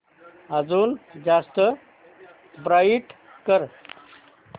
अजून जास्त ब्राईट कर